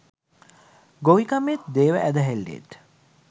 ගොවිකමේත් දේව ඇදහිල්ලේත්